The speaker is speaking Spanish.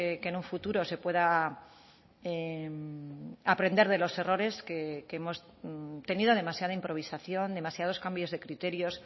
que en un futuro se pueda aprender de los errores que hemos tenido demasiada improvisación demasiados cambios de criterios